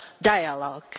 dialogue.